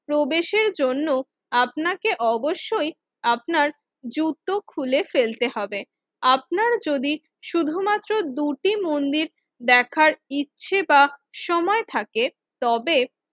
প্রবেশের জন্য আপনাকে অবশ্যই আপনার জুতো খুলে ফেলতে হবে। আপনার যদি শুধুমাত্র দুটি মন্দির দেখার ইচ্ছে বা সময় থাকে তবে